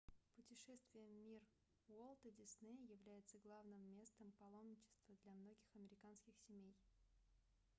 путешествие в мир уолта диснея является главным местом паломничества для многих американских семей